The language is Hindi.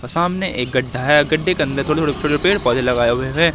सामने एक गड्ढा है गड्ढे के अंदर थोड़े थोड़े छोटे छोटे पेड़ पौधे लगाए हुए हैं।